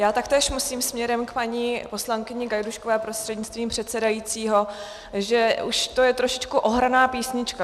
Já taktéž musím směrem k paní poslankyni Gajdůškové prostřednictvím předsedajícího, že už to je trošičku ohraná písnička.